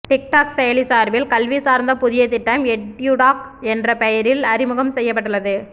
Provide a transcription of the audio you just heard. TikTok செயலி சார்பில் கல்வி சார்ந்த புதிய திட்டம் எட்யுடாக் என்ற பெயரில் அறிமுகம் செய்யப்பட்டுள்ளது